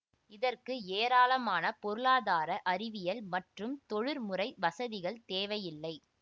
இதற்கு ஏராளமான பொருளாதார அறிவியல் மற்றும் தொழிற்முறை வசதிகள் தேவையில்லை